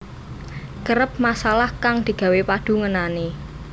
Kerep masalah kang digawe padu ngenani